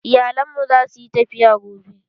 Iyalen mu zasu yi tafiya gobe.